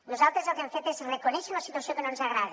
nosaltres el que hem fet és reconèixer una situació que no ens agrada